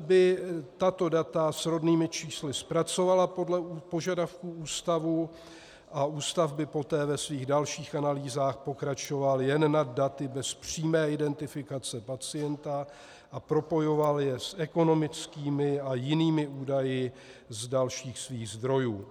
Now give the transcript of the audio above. by tato data s rodnými čísly zpracovala podle požadavků ústavu a ústav by poté ve svých dalších analýzách pokračoval jen nad daty bez přímé identifikace pacienta a propojoval je s ekonomickými a jinými údaji z dalších svých zdrojů.